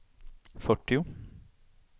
fyrtio